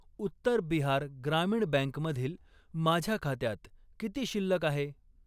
उत्तर बिहार ग्रामीण बँक मधील माझ्या खात्यात किती शिल्लक आहे?